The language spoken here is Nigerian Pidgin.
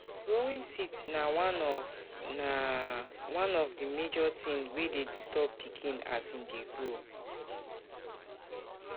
Growing teeth na one of na one of the major thing wey de disturb pikin as him de grow